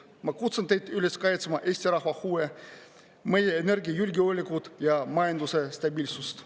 Ma kutsun teid üles kaitsma Eesti rahva huve, meie energiajulgeolekut ja majanduse stabiilsust.